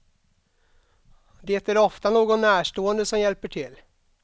Det är ofta någon närstående som hjälper till.